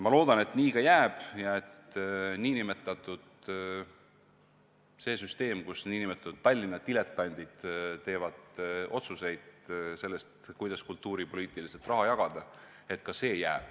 Ma loodan, et nii ka jääb, et see süsteem, kus nn Tallinna diletandid teevad otsuseid selle kohta, kuidas kultuuripoliitiliselt raha jagada, jääb samuti.